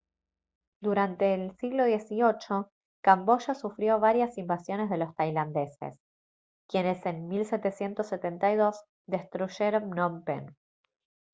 durante el siglo xviii camboya sufrió varias invasiones de los tailandeses quienes en 1772 destruyeron phnom phen